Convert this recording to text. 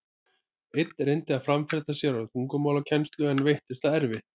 Einn reyndi að framfleyta sér með tungumálakennslu, en veittist það erfitt.